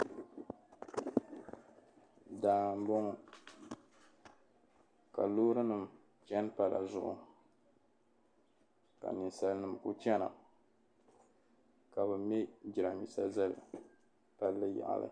Daa n boŋɔ ka loorinima chani pala zuɣu ka ninsalinima ku chana ka bi me jiramiinsa zali palli yaɣili.